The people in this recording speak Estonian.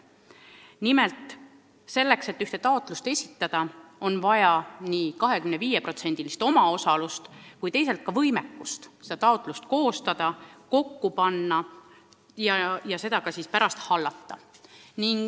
Nimelt: selleks et taotlust esitada, on vaja nii 25%-list omaosalust kui ka võimekust nõuetekohane taotlus koostada ja seda keskust ka pärast hallata.